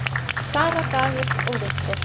Sara, Dagur og Victor.